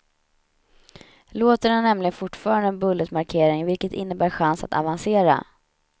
Låten har nämligen fortfarande en bulletmarkering, vilket innebär chans att avancera.